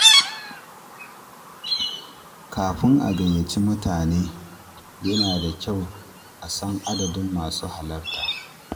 Kafin a gayyaci mutane, yana da kyau a san adadin masu halarta.